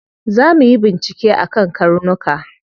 Za muyi bincike akan karnuka.